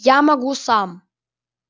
я могу сам